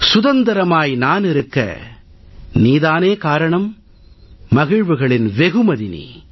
சுதந்திரமாய் நான் இருக்க நீ தானே காரணம் மகிழ்வுகளின் வெகுமதி நீ